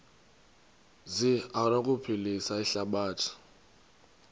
zi anokuphilisa ihlabathi